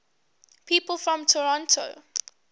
people from toronto